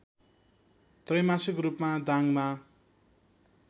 त्रैमासिक रूपमा दाङमा